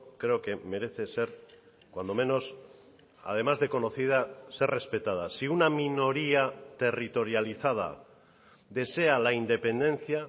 creo que merece ser cuando menos además de conocida ser respetada si una minoría territorializada desea la independencia